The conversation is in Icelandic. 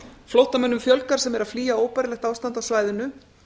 flóttamönnum fjölgar sem flýja óbærilegt ástand á svæðinu